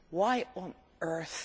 Why on earth?